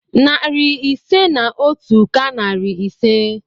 Narị ise na otu ka narị ise.